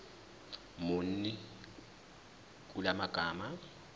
muni kula magama